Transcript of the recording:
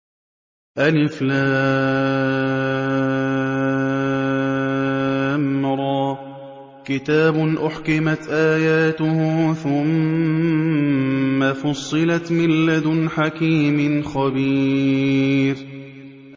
الر ۚ كِتَابٌ أُحْكِمَتْ آيَاتُهُ ثُمَّ فُصِّلَتْ مِن لَّدُنْ حَكِيمٍ خَبِيرٍ